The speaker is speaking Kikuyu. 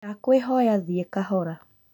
Ndakwĩkũhoya, thiĩ kahora